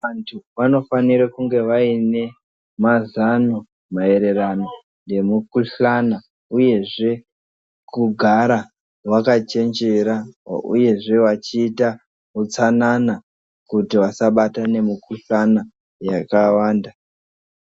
Antu vanofanire kunge vaine mazano maererano nemukuhlana, uyezve kugara vakachenjera, uyezve vachiita hutsanana kuti vasabatwa nemukuhlana yakawanda.